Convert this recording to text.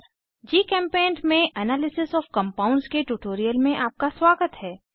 जीचेम्पेंट में analysis of compounds के tutorial में आपका स्वागत है